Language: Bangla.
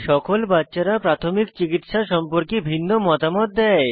সকল বাচ্চারা প্রাথমিক চিকিত্সা সম্পর্কে ভিন্ন মতামত দেয়